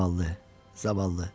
Zavallı, zavallı!